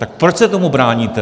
Tak proč se tomu bráníte?